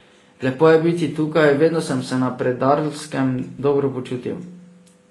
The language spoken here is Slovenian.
Lepo je biti tukaj, vedno sem se na Predarlskem dobro počutil.